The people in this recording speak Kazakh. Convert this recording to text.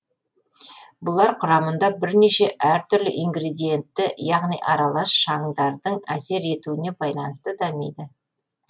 бұлар құрамында бірнеше әртүрлі ингредиентті яғни аралас шаңдардың әсер етуіне байланысты дамиды